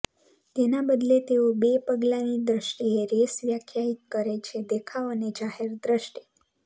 તેના બદલે તેઓ બે પગલાંની દ્રષ્ટિએ રેસ વ્યાખ્યાયિત કરે છેઃ દેખાવ અને જાહેર દ્રષ્ટિ